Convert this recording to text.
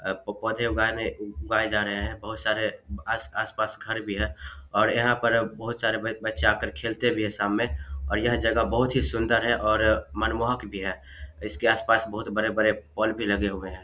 पौधे उगाए जा रहे हैं बहुत सारे आस-पास घर भी है और यहाँ पर बहुत सारे ब बच्चे आकर खेलते भी है शाम में और यह जगह बहुत ही सुंदर है और मनमोहक भी है इसके आस-पास बहुत बड़े-बड़े पोल भी लगे हुए है।